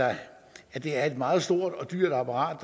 at det er et meget stort og dyrt apparat